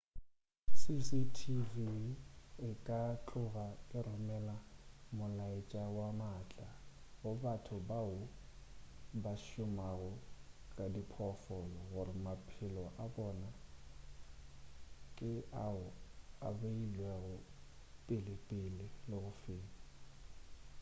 cctv e ka tloga e romela molaetša wo maatla go batho bao ba šomago ka diphoofolo gore maphelo a bona ke ao a beilwego pelepele le go feta